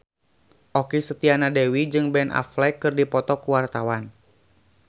Okky Setiana Dewi jeung Ben Affleck keur dipoto ku wartawan